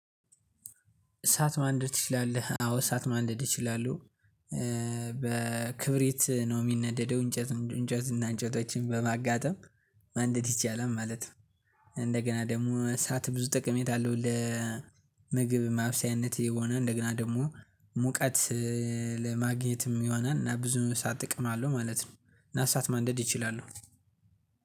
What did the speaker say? እሳት ማንደድ ትችላለህ አዎ እሳት ማንደድ እችላለሁ። በክብሪት ነው የሚነደደው እንጨት እና እንጨቶችን በማጋጠም ማንደድ ይቻላል ማለት ነው። እንደገና ደግሞ እሳት ብዙ ጠቀሜት አለው ለምግብ ማብሰያነት የሆነ እንደገና ደግሞ ሙቀት ለማግኘትም ይሆናል እና ብዙ እሳ ጥቅም አለው ማለት ነው እና እሳት ማንደድ ይችላሉ